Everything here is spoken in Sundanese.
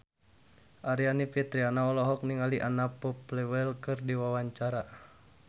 Aryani Fitriana olohok ningali Anna Popplewell keur diwawancara